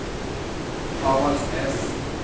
Avaldsnes